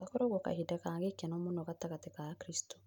Gakoragwo kahinda ga gĩkeno mũno gatagatĩ ka akristo